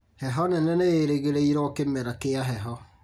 Heho nene nĩĩrĩgĩrĩirwo kĩmera kĩa heho